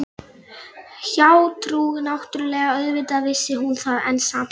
Hjátrú náttúrlega, auðvitað vissi hún það, en samt